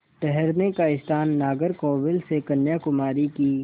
ठहरने का स्थान नागरकोविल से कन्याकुमारी की